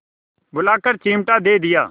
बुलाकर चिमटा दे दिया